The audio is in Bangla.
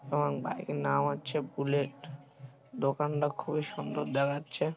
এবং বাইক - এর নাম হচ্ছে বুলেট । দোকানটা খুবই সুন্দর দেখচ্ছে|